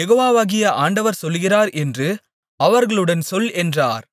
யெகோவாகிய ஆண்டவர் சொல்லுகிறார் என்று அவர்களுடன் சொல் என்றார்